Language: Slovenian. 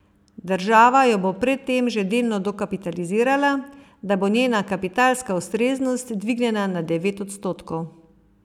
Država jo bo pred tem že delno dokapitalizirala, da bo njena kapitalska ustreznost dvignjena na devet odstotkov.